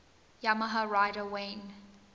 yamaha rider wayne